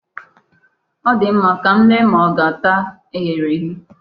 Ọ dị mma, ka m lee ma ọ ga-ata eghere eghe.